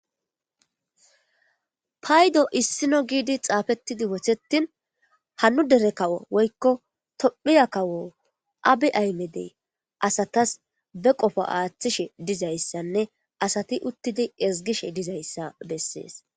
Paydo issino giidi xaafettidi wothettin hanu dere kawo woykko tophiya kawo abi aymedey asatas be qofo aaththishe dizayssanne asati uttidi ezgishe dizayssa bessee.s